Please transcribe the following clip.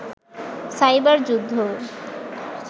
cyber যুদ্ধ